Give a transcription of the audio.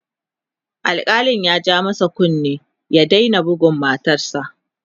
alkalin ya ja masa kunnen ya Daina budgun matarsa